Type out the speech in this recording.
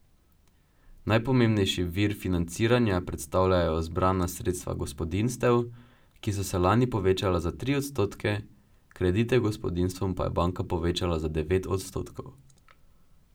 Najpomembnejši vir financiranja predstavljajo zbrana sredstva gospodinjstev, ki so se lani povečala za tri odstotke, kredite gospodinjstvom pa je banka povečala za devet odstotkov.